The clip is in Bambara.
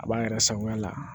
A b'an yɛrɛ sagoya la